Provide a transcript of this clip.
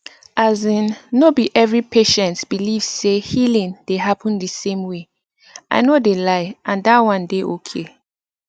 asin no be every patient believe say healing dey happen di same way i no dey lie and that one dey okay